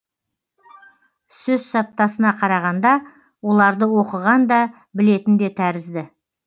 сөз саптасына қарағанда оларды оқыған да білетін де тәрізді